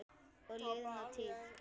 Og liðna tíð.